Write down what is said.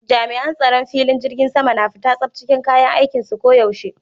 Jami'an tsaron filing jirgin sama na fita tsaf cikin kayan aikinsu ko yaushe.